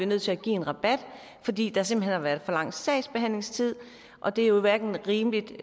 nødt til at give en rabat fordi der simpelt hen har været for lang sagsbehandlingstid og det er jo hverken rimeligt